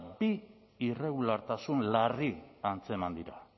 bi irregulartasun larri antzeman dira